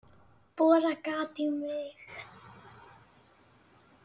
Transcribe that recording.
Borar gat í mig.